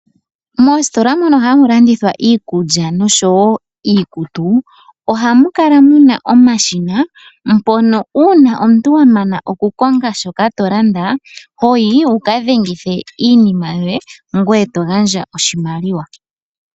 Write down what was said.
Moositola mono hamu landithwa iikulya nosho wo iikutu, ohamu kala mu na omashina , mpono uuna omuntu wa nana okukonga shoka to landa, ho yi wu ka dhengithe iinima yoye, ngoye to gandja oshimaliwa.